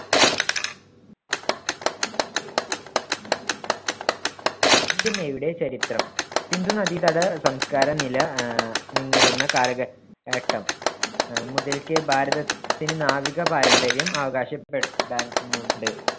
Indian നേവിയുടെ ചരിത്രം. സിന്ധു നദീതട സംസ്കാര നില ആഹ് നിന്നിരുന്ന കാലഘ~ഘട്ടം അഹ് മുതൽക്കേ ഭാരത~ത്തിന്‍ടെ നാവിക പാരമ്പര്യം അവകാശ പെടാനുണ്ട്.